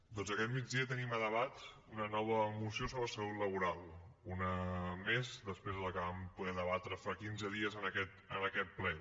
doncs aquest migdia tenim a debat una nova moció sobre salut laboral una més després de la que vam poder debatre fa quinze dies en aquest ple